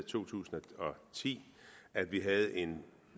to tusind og ti at vi havde en